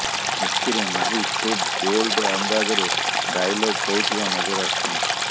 ଏଥିରେ ମାହି ଖୁବ୍ ବୋଲ୍ଡ ଅନ୍ଦାଜରେ ଡାଏଲଗ କହୁଥିବା ନଜର ଆସୁଛନ୍ତି